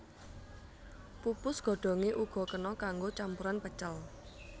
Pupus godhonge uga kena kanggo campuran pecel